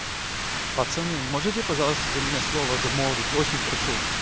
пацаны можете пожалуйста за меня слово замолвить очень прошу